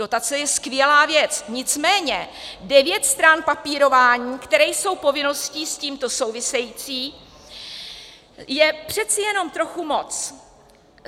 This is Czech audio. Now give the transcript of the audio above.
Dotace je skvělá věc, nicméně devět stran papírování, které jsou povinností s tímto související, je přece jenom trochu moc.